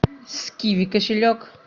с киви кошелек